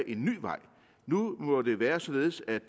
en ny vej nu må det være således at